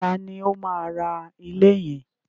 Taàní ó máa ra ilé yẹn?